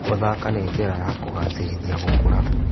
Gũthaka nĩ njĩra ya kũgacĩrithia gũkũra.